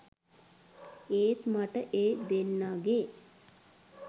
ඒත් මට ඒ දෙන්නගේ